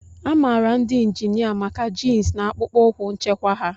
A maara ndị injinia maka jins na akpụkpọ ụkwụ nchekwa ha.